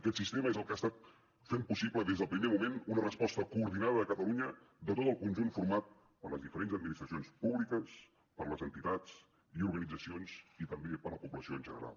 aquest sistema és el que ha estat fent possible des del primer moment una resposta coordinada a catalunya de tot el conjunt format per les diferents administracions públiques per les entitats i organitzacions i també per la població en general